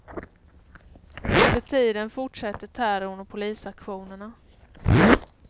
Under tiden fortsätter terrorn och polisaktionerna.